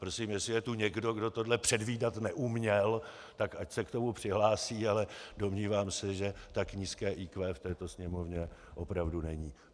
Prosím, jestli je tu někdo, kdo tohle předvídat neuměl, tak ať se k tomu přihlásí, ale domnívám se, že tak nízké IQ v této Sněmovně opravdu není.